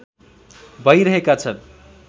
भइरहेका छन्